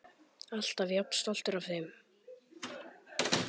Alltaf jafn stoltur af þeim.